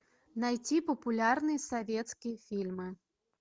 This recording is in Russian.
найти популярные советские фильмы